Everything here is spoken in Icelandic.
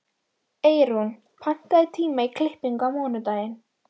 Eyrún, pantaðu tíma í klippingu á mánudaginn.